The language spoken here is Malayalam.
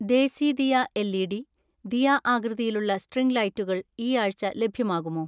ദേസിദിയ എൽ.ഇ.ഡി, ദിയ ആകൃതിയിലുള്ള സ്ട്രിംഗ് ലൈറ്റുകൾ ഈ ആഴ്ച ലഭ്യമാകുമോ?